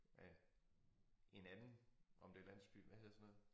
Er en anden om det landsbyen hvad hedder sådan noget